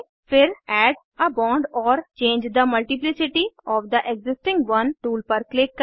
फिर add a bond or change the multiplicity of the existing one tool पर click करें